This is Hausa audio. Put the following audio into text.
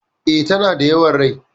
E,tana yawan rai.